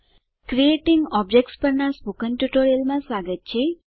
creating objects પરનાં spoken ટ્યુટોરીયલમાં સ્વાગત છે